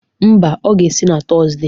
Mba, ọ ga-esi na Tọzde.